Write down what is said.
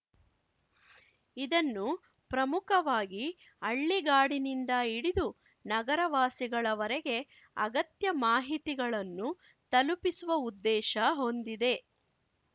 ಇದನ್ನು ಪ್ರಮುಖವಾಗಿ ಹಳ್ಳಿಗಾಡಿನಿಂದ ಹಿಡಿದ ನಗರ ವಾಸಿಗಳವರೆಗೆ ಅಗತ್ಯ ಮಾಹಿತಿಗಳನ್ನು ತಲುಪಿಸುವ ಉದ್ದೇಶ ಹೊಂದಿದೆ